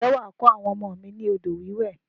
Ǹjẹ́ wà á kọ́ àwọn ọmọ mi ni odò wíwẹ̀?